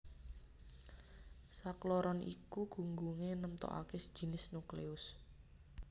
Sakloron iku gunggungé nemtokaké jinis nukleus